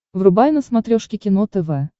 врубай на смотрешке кино тв